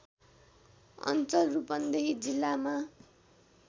अञ्चल रूपन्देही जिल्लामा